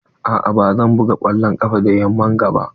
A'a ba zan buga kwallon ƙafa da yamman ga ba.